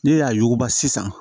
Ne y'a yuguba sisan